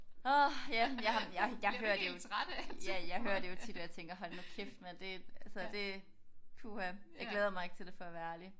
Åh ja jeg jeg jeg hører det jo ja jeg hører det jo tit hvor jeg tænker hold nu kæft mand det altså det puha. Jeg glæder mig ikke til det for at være ærlig